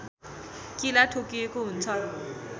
किला ठोकिएको हुन्छ